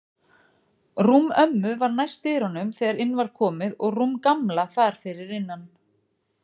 Rúm ömmu var næst dyrunum þegar inn var komið og rúm Gamla þar fyrir innan.